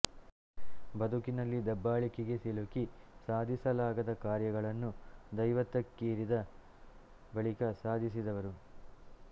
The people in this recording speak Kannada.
ಬದುಕಿನಲ್ಲಿ ದಬ್ಬಾಳಿಕೆಗೆ ಸಿಲುಕಿ ಸಾಧಿಸಲಾಗದ ಕಾರ್ಯಗಳನ್ನು ದೈವತ್ವಕ್ಕೇರಿದ ಬಳಿಕ ಸಾಧಿಸಿದವರು